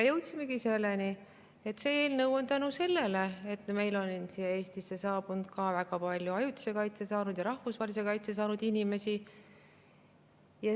Jõudsimegi selleni, et see eelnõu on tulnud tänu sellele, et meile Eestisse on saabunud ka väga palju ajutise kaitse saanud ja rahvusvahelise kaitse saanud inimesi.